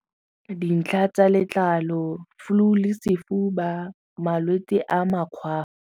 Dintlha tsa letlalo, flu le sefofu ba malwetse a .